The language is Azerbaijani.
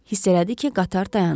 Hiss elədi ki, qatar dayanıb.